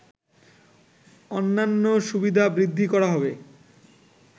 অন্যান্য সুবিধা বৃদ্ধি করা হবে